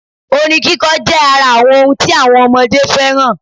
Orin kíkọ jẹ́ ara àwọn ọhun tí àwọn ọmọdé fẹ́ràn